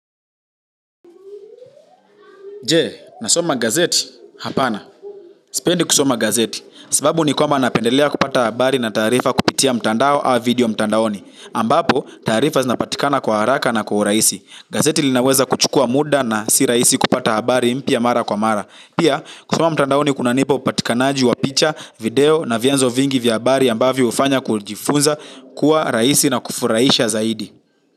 Je, nasoma gazeti, hapana. Sipendi kusoma gazeti, sababu ni kwamba napendelea kupata habari na taarifa kupitia mtandao au video mtandaoni. Ambapo, taarifa zinapatikana kwa haraka na kwa urahisi. Gazeti linaweza kuchukua muda na si rahisi kupata habari mpya mara kwa mara. Pia kusoma mtandaoni kunanipa upatikanaji wa picha video na vyanzo vingi vya habari ambavyo hufanya kujifunza kuwa rahisi na kufurahisha zaidi.